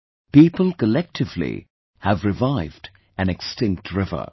, people collectively have revived an extinct river